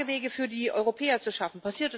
Klagewege für die Europäer zu schaffen.